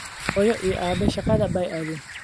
Hooyo iyo aabbe shaqada bay aadeen